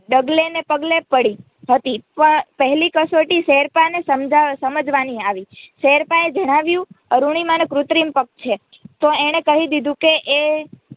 ડગલે ને પગલે પડી હતી પહેલી કસોટી શેરપાને સમજવાની આવી શેરપાને જાણ્યું અરૂણિમાનો કુત્રિમ પગ છે તો એણે કહી દીધું કે એ